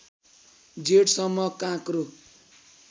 जेठसम्म काँक्रो